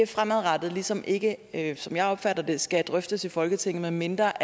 fremadrettet ligesom ikke ikke som jeg opfatter det skal drøftes i folketinget medmindre